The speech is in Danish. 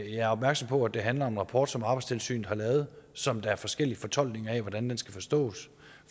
jeg er opmærksom på at det handler om en rapport som arbejdstilsynet har lavet og som der er en forskellig fortolkning af hvordan skal forstås